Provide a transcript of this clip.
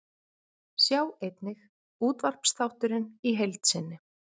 Sjá einnig: Útvarpsþátturinn í heild sinni